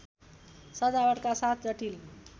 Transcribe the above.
सजावटका साथ जटिल